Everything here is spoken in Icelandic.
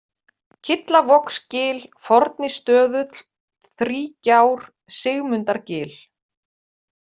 Kyllavogsgil, Fornistöðull, Þrígjár, Sigmundargil